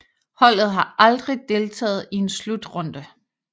Holdet har aldrig deltaget i en slutrunde